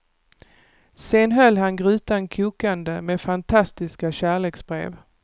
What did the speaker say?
Sen höll han grytan kokande med fantastiska kärleksbrev.